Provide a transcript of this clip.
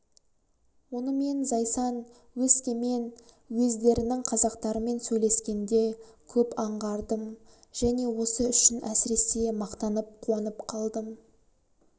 оны мен зайсан өскемен уездерінің қазақтарымен сөйлескенде көп аңғардым және осы үшін әсіресе мақтанып қуанып қалдым